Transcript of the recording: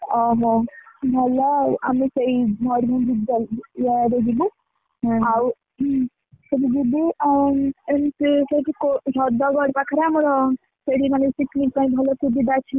ଓହୋ ଭଲ ଆଉ ଆମେ ସେଇ ମୟୂରଭଞ୍ଜ ଇଏ ଆଡେ ଯିବୁ ଆଉ ସେଇଠୁ ଯିବୁ ଆଁ ଏମିତି ସେଠି କୋ ହ୍ରଦଗଡ ପାଖରେ ଆମର ସେଇଠି ମାନେ secret type ଭଳିଆ ସୁବିଧା ଅଛି ଆମର